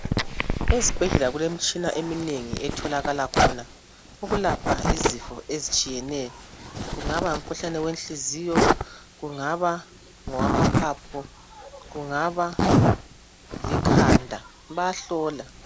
Ezibhedlela kulemitshina eminengi etholakala khona ukulapha izifo ezitshiyeneyo. Kungaba ngumkhuhlane wenhliziyo, kungaba ngowamaphapho, kungaba likhanda, bayahlola.